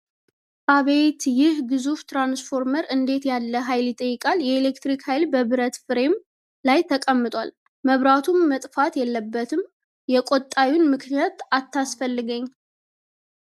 አቤት! ይህ ግዙፍ ትራንስፎርመር እንዴት ያለ ኃይል ይጠይቃል! የኤሌክትሪክ ኃይል በብረት ፍሬም ላይ ተቀምጧል! መብራቱ መጥፋት የለበትም፣ የቁጣዬን ምክንያት አታስፈልገኝ!